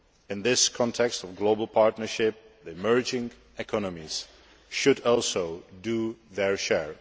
In this context of global partnership, the emerging economies should also do their share.